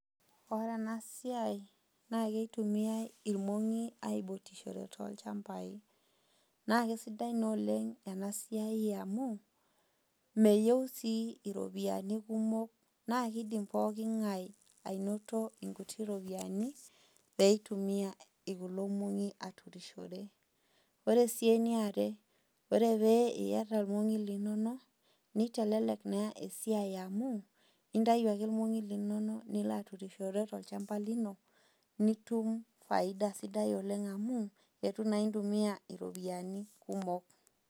Ore enasiai, na kitumiai irmong'i aibutishore tolchambai. Na kesidai naa oleng enasiai amu, meyieu si iropiyiani kumok, na kidim pooking'ae anoto inkuti ropiyaiani, peitumia kulo mong'i aturushore. Ore si eniare, ore pee iyata irmong'i linonok, nitelelek naa esiai amu, intayu ake irmong'i linonok, nilo aturushore tolchamba lino, nitum faida sidai oleng amu, eitu naa intumia ropiyaiani kumok.